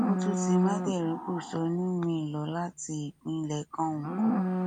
ikú tún ti mádẹrìíńpọṣónù míín lọ láti ìpínlẹ kánko